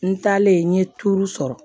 N taalen n ye turu sɔrɔ